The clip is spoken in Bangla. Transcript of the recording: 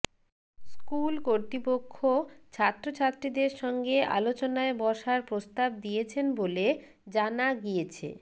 স্কুল কর্তৃপক্ষ ছাত্র ছাত্রীদের সঙ্গে আলোচনায় বসার প্রস্তাব দিয়েছেন বলে জানা গিয়েছে